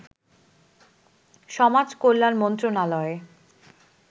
সমাজ কল্যাণ মন্ত্রণালয়